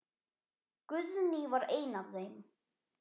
Guðný var ein af þeim.